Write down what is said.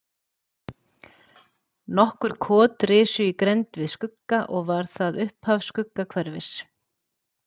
Nokkur kot risu í grennd við Skugga og var það upphaf Skuggahverfis.